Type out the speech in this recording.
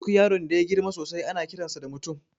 Duk yaron da yagirma sosai ana kiransa da mutum